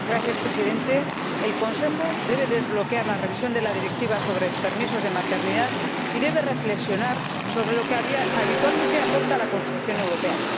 Señor Presidente, el Consejo debe desbloquear la revisión de la Directiva sobre permisos de maternidad y debe reflexionar sobre lo que habitualmente aporta a la construcción europea.